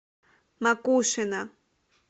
макушино